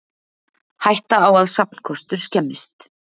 Hætta á að safnkostur skemmist